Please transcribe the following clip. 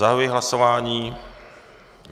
Zahajuji hlasování.